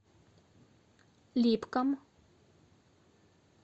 липкам